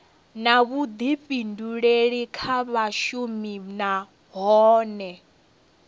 na vhuḓifhinduleli kha vhashumi nahone